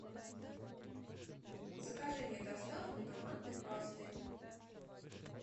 закажи мне доставку томатной пасты